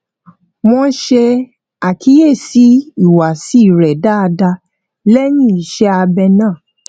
wón ṣe àkíyèsí ìhùwàsí rẹ dáadáa léyìn iṣé abẹ náà